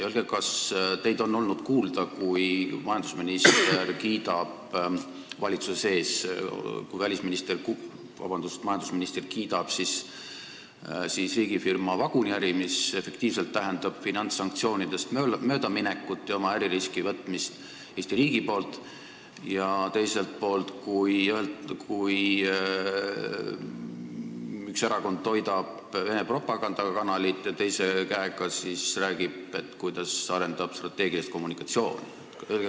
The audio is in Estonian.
Öelge, kas teid on olnud kuulda, kui majandusminister kiidab valitsuses riigifirma vaguniäri, mis tähendab finantssanktsioonidest möödaminekut ja äririski võtmist Eesti riigi poolt, ja kui üks erakond toidab Vene propagandakanalit ja samas räägib, kuidas see arendab strateegilist kommunikatsiooni.